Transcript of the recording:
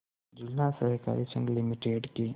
जिला सहकारी संघ लिमिटेड के